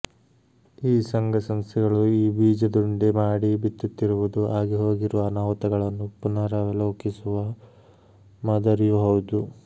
ಈ ಸಂಘಸಂಸ್ಥೆಗಳು ಈ ಬೀಜದುಂಡೆ ಮಾಡಿ ಬಿತ್ತುತ್ತಿರುವುದು ಆಗಿಹೋಗಿರುವ ಅನಾಹುತಗಳನ್ನು ಪುನಾರವಲೋಕಿಸುವ ಮಾದರಿಯೂ ಹೌದು